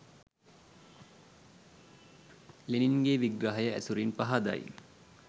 ලෙනින්ගේ විග්‍රහය ඇසුරින් පහදයි